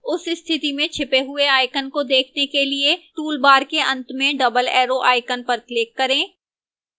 उस स्थिति में छिपे हुए icon को देखने के लिए toolbars के अंत में double arrow icon पर click करें